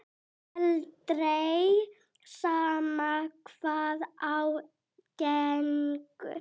Aldrei, sama hvað á gengur.